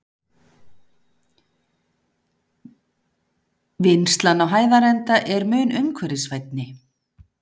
Vinnslan á Hæðarenda er mun umhverfisvænni.